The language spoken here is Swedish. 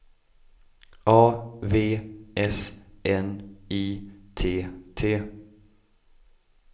A V S N I T T